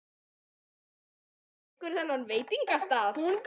Og veistu hver rekur þann veitingastað?